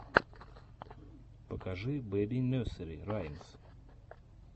покажи бэби несери раймс